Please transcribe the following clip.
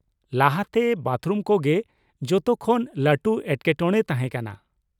ᱞᱟᱦᱟ ᱛᱮ ᱵᱟᱛᱷᱨᱩᱢ ᱠᱚ ᱜᱮ ᱡᱚᱛᱚ ᱠᱷᱚᱱ ᱞᱟᱹᱴᱩ ᱮᱴᱠᱮᱴᱚᱬᱮ ᱛᱟᱦᱮᱸ ᱠᱟᱱᱟ ᱾